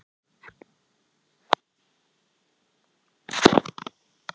Biblíuna sem ég las skipulega meðfram öðrum bókum þar til ég hafði lesið hana alla.